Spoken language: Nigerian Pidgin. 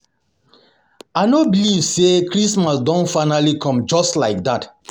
I no believe say christmas don finally come just like dat